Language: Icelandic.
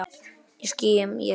Í skýjum ég svíf.